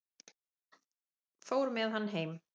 Fór með hann heim.